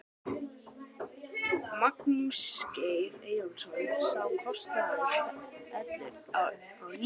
Magnús Geir Eyjólfsson: Sá kostnaður fellur á ríkið eða?